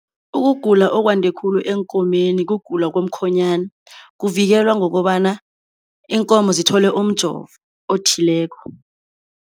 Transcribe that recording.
Ukugula okwande khulu eenkomeni kugula komkhonyana. Kuvikelwa ngokobana iinkomo zithole umjovo othileko.